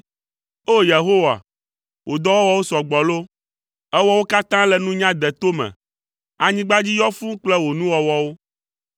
O! Yehowa, wò dɔwɔwɔwo sɔ gbɔ loo! Èwɔ wo katã le nunya deto me, anyigba dzi yɔ fũu kple wò nuwɔwɔwo.